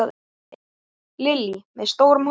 Lillý: Með stórum hópi?